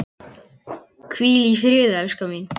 Hvíl í friði, elskan mín.